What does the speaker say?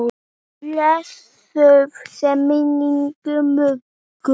Blessuð sé minning Möggu.